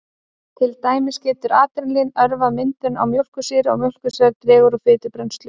Til dæmis getur adrenalín örvað myndun á mjólkursýru og mjólkursýra dregur úr fitubrennslu.